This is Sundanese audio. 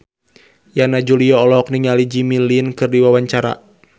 Yana Julio olohok ningali Jimmy Lin keur diwawancara